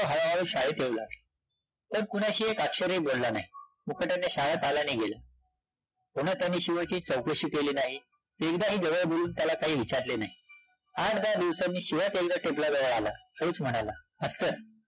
तो कुणाशी एक अक्ष्ररही बोलला नाही, मुकाट्याने शाळेत आला आणि गेला, पुन्हा त्याने शिवाची चौकशी केली नाही, एकदाही जवळ बोलवून त्याला काही विचारले नाही, आठ-दहा दिवसांनी शिवाच एकदा टेपला जवळ आला, हळूच म्हणाला, अस्सं